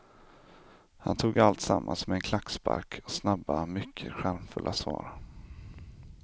Han tog alltsammans med en klackspark och snabba, mycket charmfulla, svar.